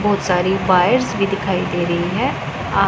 बहुत सारे पाइप दिखाई दे रही है आ--